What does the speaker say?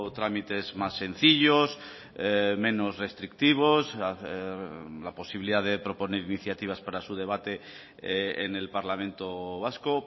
tramites más sencillos menos restrictivos la posibilidad de proponer iniciativas para su debate en el parlamento vasco